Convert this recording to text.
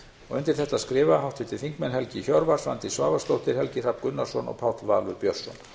undir þetta skrifa háttvirtir þingmenn helgi hjörvar svandís svavarsdóttir helgi hrafn gunnarsson og páll valur björnsson